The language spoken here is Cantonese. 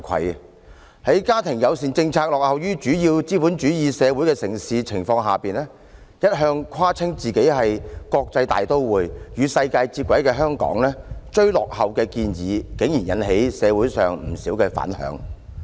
面對其家庭友善政策落後於主要資本主義城市的情況，一向自誇為國際大都會、與世界接軌的香港，其"追落後"的建議竟然引起社會上不少反響。